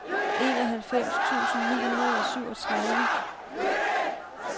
enoghalvfems tusind ni hundrede og syvogtredive